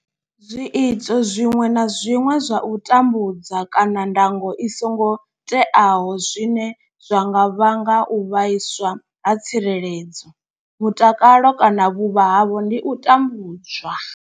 Zwiito zwiṅwe na zwiṅwe zwa u tambudza kana ndango i songo teaho zwine zwa nga vhanga u vhaiswa ha tsireledzo, mutakalo kana vhuvha havho ndi u tambudzwa.